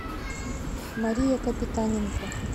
мария капитаненко